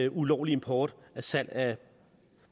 ulovlig import og salg af